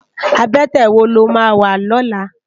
Abètè wó ló má wá lòlá?